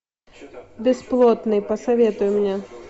бесплотный посоветуй мне